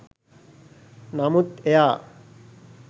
නමුත් එයා